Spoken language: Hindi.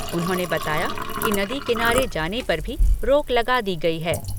उन्होंने बताया कि नदी किनारे जाने पर भी रोक लगा दी गई है।